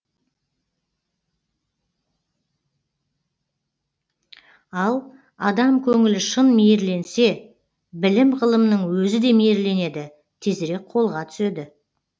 ал адам көңілі шын мейірленсе білім ғылымның өзі де мейірленеді тезірек қолға түседі